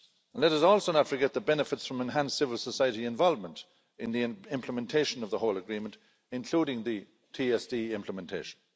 Let us also not forget the benefits from enhanced civil society involvement in the implementation of the whole agreement, including the TSD implementation.